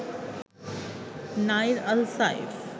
Nair Al Saif